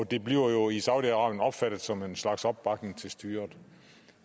det bliver jo i saudi arabien opfattet som en slags opbakning til styret